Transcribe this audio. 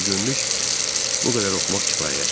Bugünlük bu qədər oxumaq kifayətdir.